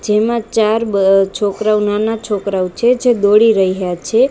જેમા ચાર બ છોકરાઓ નાના છોકરાઓ છે જે દોડી રહ્યા છે.